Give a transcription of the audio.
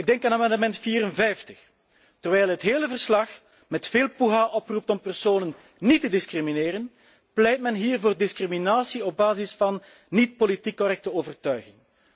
Ik denk aan amendement 54 terwijl het hele verslag met veel poeha oproept om personen niet te discrimineren, pleit men hier voor discriminatie op basis van niet politiek correcte overtuiging.